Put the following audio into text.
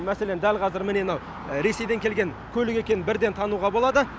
мәселен дәл қазір міне мынау ресейден келген көлік екенін бірден тануға болады